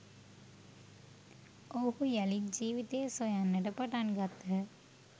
ඔවුහු යළිත් ජීවිතය සොයන්නට පටන් ගත්හ